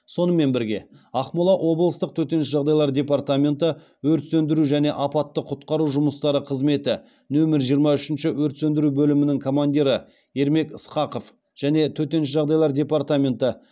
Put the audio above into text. сонымен бірге ақмола облыстық төтенше жағдайлар департаменті өрт сөндіру және апатты құтқару жұмыстары қызметі нөмір жиырма үшінші өрт сөндіру бөлімінің командирі ермек ысқақов және төтенше жағдайлар департаменті